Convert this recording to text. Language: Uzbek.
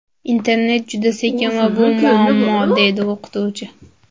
Internet juda sekin va bu muammo”, deydi o‘qituvchi.